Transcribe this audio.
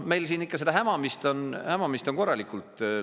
Meil siin ikka seda hämamist on korralikult.